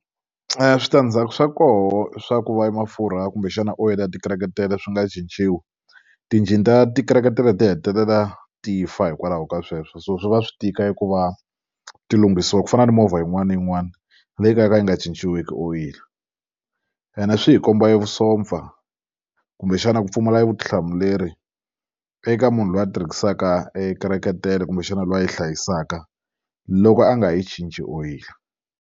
switandzhaku swa kona swa ku va emafurha kumbexana oyila ya titeretere swi nga cinciwi tinjini ta titeretere ti hetelela ti fa hikwalaho ka sweswo so swi va swi tika eku va ti lunghisiwa ku fana ni movha yin'wana na yin'wana leyi yo ka yo ka yi nga cinciwiki oyila ene swi hi komba evusopfa kumbexana ku pfumala vutihlamuleri eka munhu loyi a tirhisaka e teretere kumbexana loyi a yi hlayisaka loko a nga yi cinci oyila.